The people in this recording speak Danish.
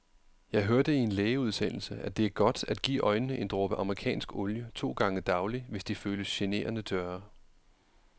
Jeg hørte i en lægeudsendelse, at det er godt at give øjnene en dråbe amerikansk olie to gange daglig, hvis de føles generende tørre.